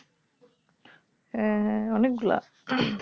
হ্যাঁ হ্যাঁ অনেকগুলা